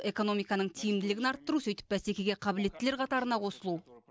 экономиканың тиімділігін арттыру сөйтіп бәсекеге қабілеттілер қатарына қосылу